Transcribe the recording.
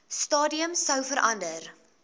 stadium sou verander